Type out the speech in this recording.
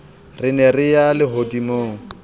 re ne re ya lehodimong